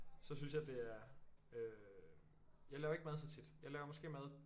Så synes jeg det er øh jeg laver ikke mad så tit jeg laver måske mad